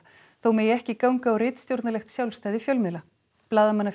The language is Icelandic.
þó megi ekki ganga á ritstjórnarlegt sjálfstæði fjölmiðla